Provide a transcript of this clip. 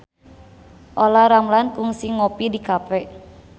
Olla Ramlan kungsi ngopi di cafe